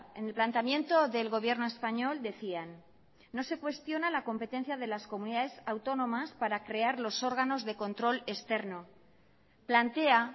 en el planteamiento del gobierno español decían no se cuestiona la competencia de las comunidades autónomas para crear los órganos de control externo plantea